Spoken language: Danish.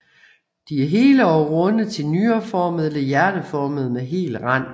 De er hele og runde til nyreformede eller hjerteformede med hel rand